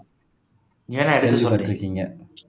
ஏன் அதை இருக்கீங்க